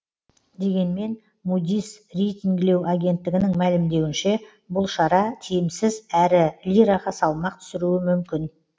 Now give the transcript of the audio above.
дегенмен мудис рейтингілеу агенттігінің мәлімдеуінше бұл шара тиімсіз әрі лираға салмақ түсіруі мүмкін